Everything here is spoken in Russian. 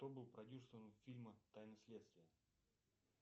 кто был продюсером фильма тайны следствия